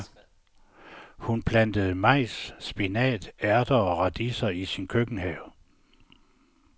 Hun plantede majs, spinat, ærter og radiser i sin køkkenhave.